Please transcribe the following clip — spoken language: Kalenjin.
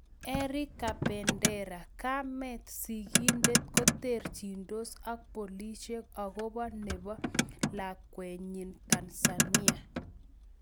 Eric kabendera: Kamet sigindet koterchindos ak polisiek akopo nepo lakwenyin Tanzania